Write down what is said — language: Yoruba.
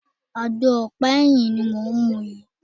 Àgbo ọ̀pá ẹyin ni mò ń mu yìí.